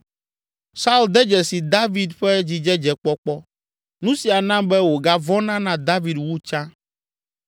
Saul de dzesi David ƒe dzidzedzekpɔkpɔ, nu sia na be wògavɔ̃na na David wu tsã,